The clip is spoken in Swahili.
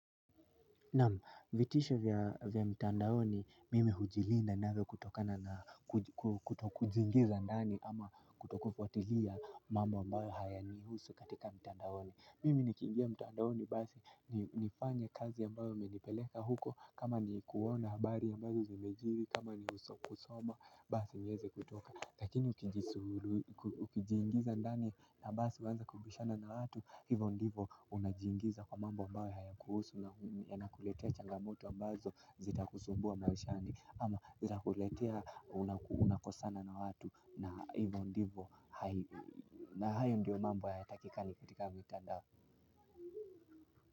Naam vitisho vya mtandaoni mimi hujilinda navyo kutokana na kutokujiingiza ndani ama kutokufuatilia mambo ambayo hayanihusu katika mtandaoni. Mimi nikiingia mtandaoni basi nifanye kazi ambayo imenipeleka huko kama ni kuona habari ambayo zimejiri kama ni kusoma basi niweze kutoka. Lakini ukijiingiza ndani na basi huanza kubishana na watu. Hivo ndivo unajingiza kwa mambo ambayo hayakuhusu yanakuletea changamoto ambazo zitakusumbua maishani amazitakuletea unakosana na watu na hivyo ndivyo. Na hayo ndio mambo yatakikani katika mitandao.